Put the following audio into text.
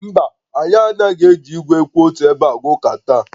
Mba, anyị anaghị eji igwe kwụ otu ebe aga ụka taa